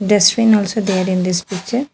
Dustbin also there in this picture.